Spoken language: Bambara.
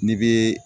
N'i bɛ